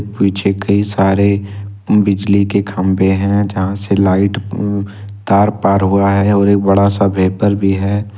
पीछे कई सारे बिजली के खंबे हैं जहां से लाइट उ तार पार हुआ है और एक बड़ा सा भेपर भी है।